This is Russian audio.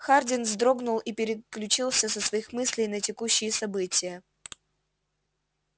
хардин вздрогнул и переключился со своих мыслей на текущие события